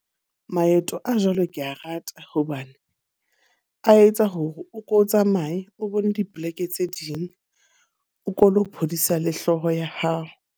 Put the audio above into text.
Maeto a jwalo ke a rata hobane a etsa hore o ko o tsamaye o bone dipoleke tse ding. O ko lo phodisa le hlooho ya hao.